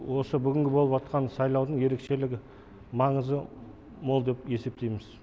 осы бүгінгі болып атқан сайлаудың ерекшелігі маңызы мол деп есептейміз